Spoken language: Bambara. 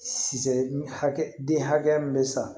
Sisan hakɛ den hakɛya min bɛ san